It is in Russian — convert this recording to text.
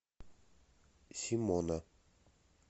симона